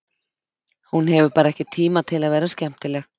Hún hefur bara ekki tíma til að vera skemmtileg.